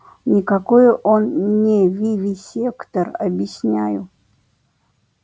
никакой он не вивисектор объясняю